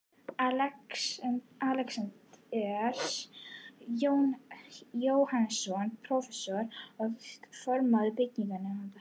Alexander Jóhannesson, prófessor, var formaður byggingarnefndar